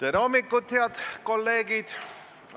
Tere hommikust, head kolleegid!